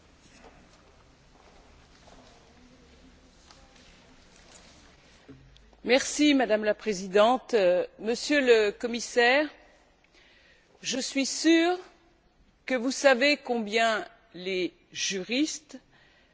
Madame la Présidente, Monsieur le Commissaire, je suis sûre que vous savez combien les juristes sont précis, parfois impatients de résoudre les problèmes juridiques les plus difficiles